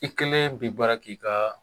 I kelen bi baara k' ii ka.